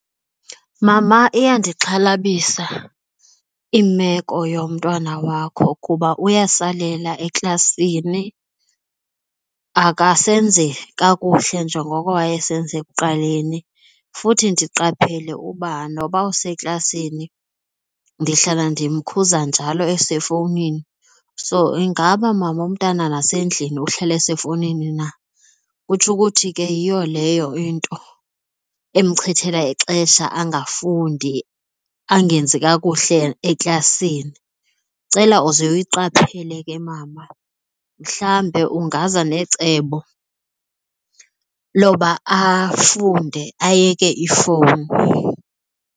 Mama, iyandixhalabisa imeko yomntwana wakho kuba uyasalela eklasini, akasenzi kakuhle njengoko wayesenza ekuqaleni futhi ndiqaphele uba noba useklasini ndihlala ndimkhuza njalo esefowunini. So ingaba, mama, umntana nasendlini uhlala esefowunini na? Kutsho ukuthi ke yiyo leyo into emchithela ixesha angafundi, angenzi kakuhle eklasini. Ndicela uze uyiqaphele ke, mama, mhlambe ungaze necebo loba afunde ayeke ifowuni.